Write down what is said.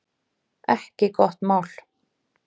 Ekki gott mál